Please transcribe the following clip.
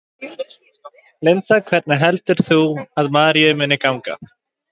Linda: Hvernig heldur þú að Maríu muni ganga?